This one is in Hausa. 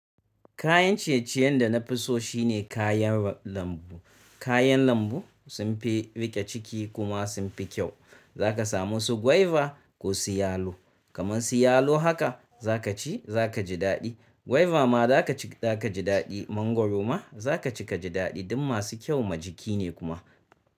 Kayan ciye-ciyen da na fi so shine kayan lambu. Kayan lambu sun fi riƙe ciki kuma sun fi kyau. Za ka samu su gwaiba ko su yalo. Kaman su yalo haka za ka ci za ka ji daɗi. Gwaiba ma za ka ci za ka ji daɗi. Mangwaro ma za ka ci ka ji daɗi. Duk masu kyau ma jiki ne kuma.